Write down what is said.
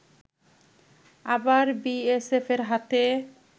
আবার বিএসএফের হাতে